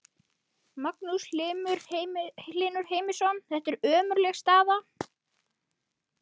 Magnús Hlynur Heimisson: Þetta er ömurleg staða?